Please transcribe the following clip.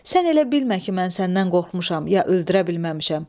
Sən elə bilmə ki, mən səndən qorxmuşam, ya öldürə bilməmişəm.